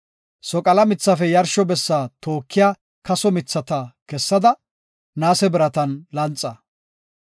Soqala mithafe yarsho bessa tookiya kaso mithata kessada, naase biratan lanxa.